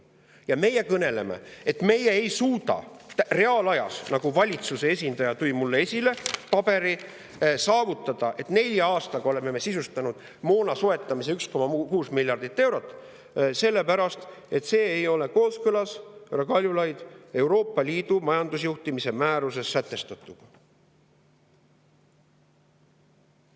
Ja meie kõneleme, et meie ei suuda reaalajas, nagu valitsuse esindaja tõi mulle esile paberil, saavutada, et nelja aastaga oleksime me sisustanud moona soetamise 1,6 miljardi euro eest, sellepärast et see ei ole kooskõlas, härra Kaljulaid, Euroopa Liidu majandusjuhtimise määruses sätestatuga!